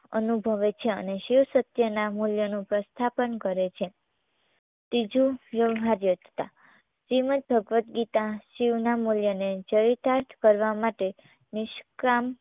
અનુભવે છે અને શિવ સત્યના મૂલ્યનું પ્રસ્થાપન કરે છે. ત્રીજું વ્યવહાર્યતા શ્રીમદ્દભગવગીતા શિવના મૂલ્યને ચરીતાર્થ કરવા માટે નિષ્કામ